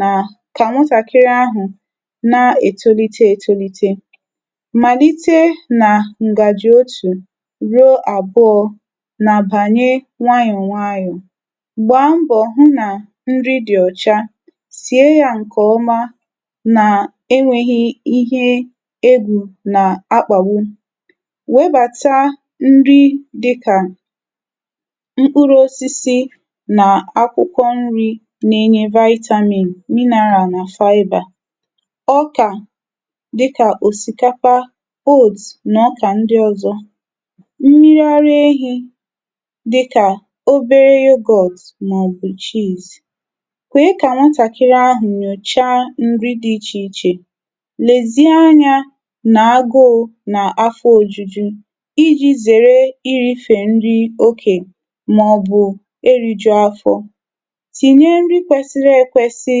nà kà nwụtàkịrị ahụ̀ nà ètolite ètolite. Màlite nà ǹgàjụ̀ otù ruo àbụọ nà àbànye nwayọ̀ nwayọ̀. Gbaa mbọ̀ hụ nà nri dị ọ̀cha. Sie ya nke ọma nà-enwėghi̇ ihe egwù nà-akpàwu. Webàta nri dịkà mkpụrụ̇osisi nà akwụkwọ̇ nri̇ nà-enye vitamin mineral nà fiber. Ọkà dịkà òsìkapa, oath nà ọkà ndị ọ̀zọ. Mmiri arụ ehi̇ dịkà obere yoghurt mà ọ bụ̀ chess. Kweka nwatàkịrị ahu nyocha ǹri dị̇ ichè ichè. Lèzi anyȧ nà agụụ nà afọ òjuju iji̇ zère iri̇fè nri okè mà ọ̀ bụ̀ eri̇jù afọ̇. Tìnye nri kwesiri ekwesi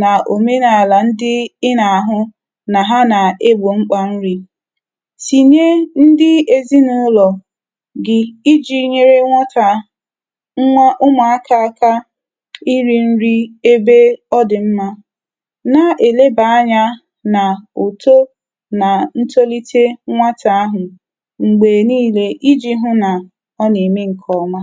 nà òmenàlà ndị ị nà-àhụ nà ha nà-egbò mkpà nri̇. Tìnye ndị ezi nà ụlọ̀ gị iji̇ nyere nwọtà nwa ụmụ̀aka aka eri nri ebe ọdị nma. Na èleba anya nà uto nà ntolite nwata ahụ̀ m̀gbè niile iji hụ̇ nà ọ nà-ème ǹkè ọma.